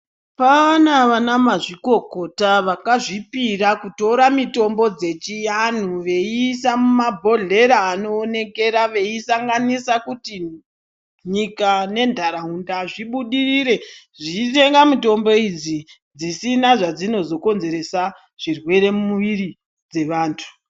Paana vana mazvikokota vakazvipira kutora mitombo dzechi vanhu veisa mumabhodhlera anoonekera veisanganisa kuti nyika nendaraunda zvibudirire, zvive namitombo idzi dzisina dzazvinozo konzeresa zvirwere mumuwiri dzevantu.